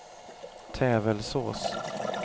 Tävelsås